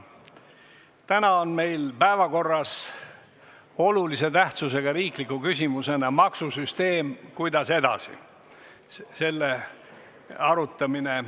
Täna on meil päevakorras olulise tähtsusega riikliku küsimusena "Maksusüsteem – kuidas edasi?" arutelu.